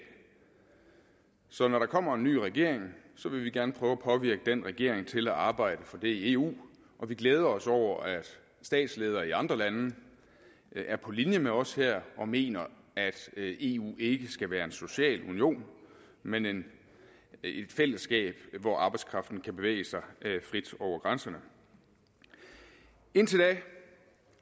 så når der kommer en ny regering vil vi gerne prøve at påvirke den regering til at arbejde for det i eu og vi glæder os over at statsledere i andre lande er på linje med os her og mener at eu ikke skal være en social union men et fællesskab hvor arbejdskraften kan bevæge sig frit over grænserne indtil da